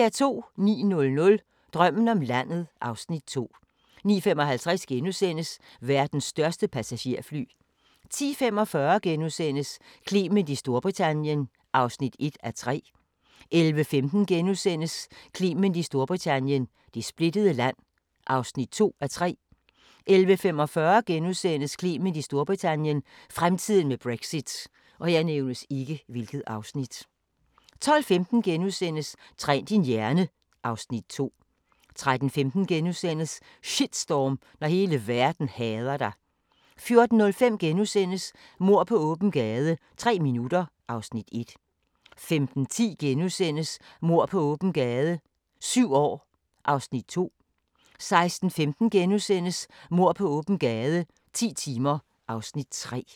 09:00: Drømmen om landet (Afs. 2) 09:55: Verdens største passagerfly * 10:45: Clement i Storbritannien (1:3)* 11:15: Clement i Storbritannien - det splittede land (2:3)* 11:45: Clement i Storbritannien - fremtiden med Brexit * 12:15: Træn din hjerne (Afs. 2)* 13:15: Shitstorm – når hele verden hader dig * 14:05: Mord på åben gade - tre minutter (Afs. 1)* 15:10: Mord på åben gade - syv år (Afs. 2)* 16:15: Mord på åben gade - ti timer (Afs. 3)*